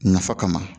Nafa kama